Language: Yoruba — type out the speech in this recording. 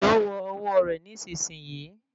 Èsó wọ ọwọ rẹ nísìsiyìí